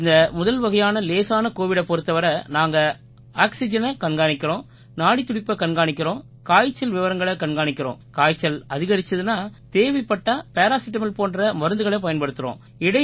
இந்த முதல்வகையான லேசான கோவிடைப் பொறுத்தவரை நாங்க ஆக்சிஜெனைக் கண்காணிக்கிறோம் நாடித்துடிப்பைக் கண்காணிக்கிறோம் காய்ச்சல் விவரங்களைக் கண்காணிக்கிறோம் காய்ச்சல் அதிகரிச்சுதுன்னா தேவைப்பட்டா பேராசிடமால் போன்ற மருந்துகளைப் பயன்படுத்துறோம்